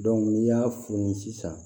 n'i y'a furu ni sisan